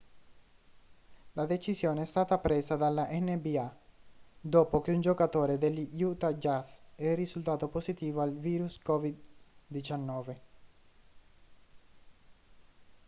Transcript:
la decisione è stata presa dalla nba dopo che un giocatore degli utah jazz è risultato positivo al virus covid-19